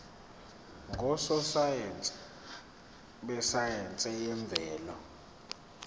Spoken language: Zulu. ngososayense besayense yemvelo